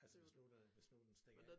Altså hvis nu der hvis nu den stikker af